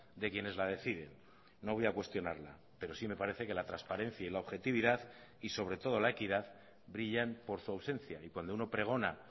de quienes la deciden no voy a cuestionarla pero sí me parece que la transparencia y la objetividad y sobre todo la equidad brillan por su ausencia y cuando uno pregona